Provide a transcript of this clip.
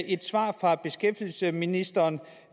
et svar fra beskæftigelsesministeren